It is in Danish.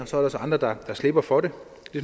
så er der andre der slipper for det